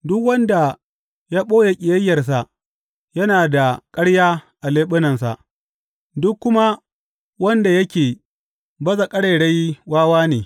Duk wanda ya ɓoye ƙiyayyarsa yana da ƙarya a leɓunansa, duk kuma wanda yake baza ƙarairayi wawa ne.